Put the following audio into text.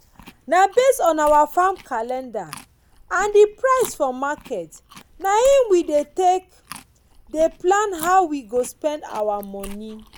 na based on our farm calendar and the price for market na him we take dey plan how we go spend our moni.